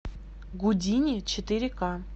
гудини четыре к